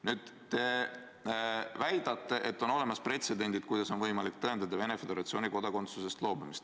Nüüd te väidate, et on olemas pretsedendid, kuidas on võimalik tõendada Venemaa Föderatsiooni kodakondsusest loobumist.